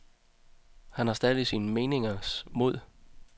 Han har stadig sine meningers mod.